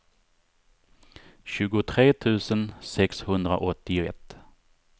tjugotre tusen sexhundraåttioett